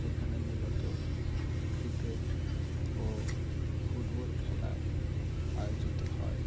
এখানে মূলত ক্রিকেট ও ফুটবল খেলা আয়োজিত হয়|